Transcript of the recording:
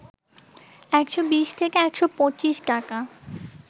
১২০ থেকে ১২৫ টাকা